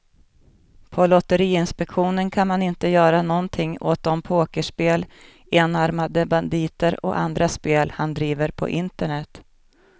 På lotteriinspektionen kan man inte göra någonting åt de pokerspel, enarmade banditer och andra spel han driver på internet.